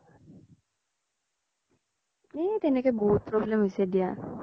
তেনেকে বহুত problem হৈছে দিয়া